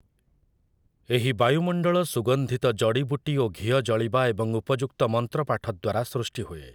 ଏହି ବାୟୁମଣ୍ଡଳ ସୁଗନ୍ଧିତ ଜଡ଼ିବୁଟି ଓ ଘିଅ ଜଳିବା ଏବଂ ଉପଯୁକ୍ତ ମନ୍ତ୍ର ପାଠ ଦ୍ୱାରା ସୃଷ୍ଟି ହୁଏ ।